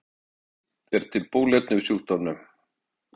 oftast er hægt að lækna holdsveiki en ekki er til bóluefni við sjúkdómnum